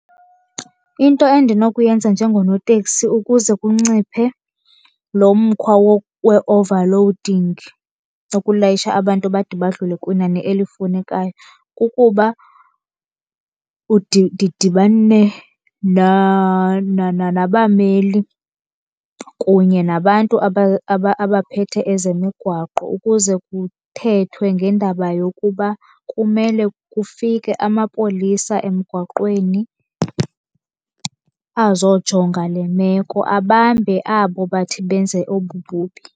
Into endinokuyenza njengonotekisi ukuze kunciphe lo mkhwa we-overloading, ukulayisha abantu bade badlule kwinani elifunekayo, kukuba ndidibane nabameli kunye nabantu abaphethe ezemigwaqo ukuze kuthethwe ngendaba yokuba kumele kufike amapolisa emigwaqweni azojonga le meko, abambe abo bathe benze obububi.